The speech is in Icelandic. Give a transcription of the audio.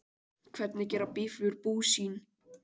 Hvernig gera býflugur bú sín?